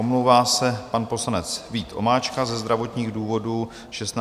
Omlouvá se pan poslanec Vít Vomáčka ze zdravotních důvodů 16. a 17. června.